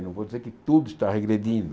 Não vou dizer que tudo está regredindo.